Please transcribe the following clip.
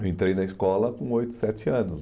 Eu entrei na escola com oito, sete anos.